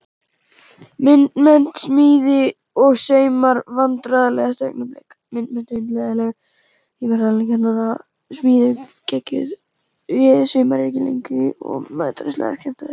Myndmennt, smíði og saumar Vandræðalegasta augnablik?